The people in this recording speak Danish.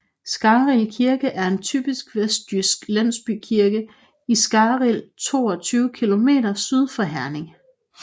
Skarrild Kirke er en typisk vestjysk landsbykirke i Skarrild 22 km syd for Herning